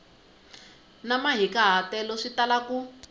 ni mahikahatelo swi tala ku